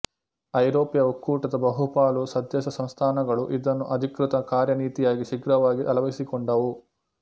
ಐರೋಪ್ಯ ಒಕ್ಕೂಟದ ಬಹುಪಾಲು ಸದಸ್ಯಸಂಸ್ಥಾನಗಳು ಇದನ್ನು ಅಧಿಕೃತ ಕಾರ್ಯನೀತಿಯಾಗಿ ಶೀಘ್ರವಾಗಿ ಅಳವಡಿಸಿಕೊಂಡವು